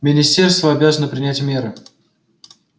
министерство обязано принять меры